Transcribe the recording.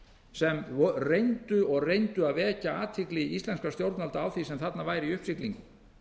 sem reyndu og reyndu að vekja athygli íslenskra stjórnvalda á því sem þarna var í uppsiglingu